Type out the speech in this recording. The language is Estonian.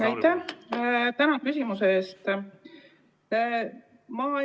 Tänan küsimuse eest!